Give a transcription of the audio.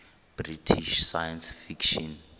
british science fiction